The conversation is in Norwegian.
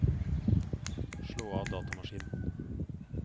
slå av datamaskinen